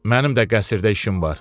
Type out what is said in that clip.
Mənim də qəsrdə işim var.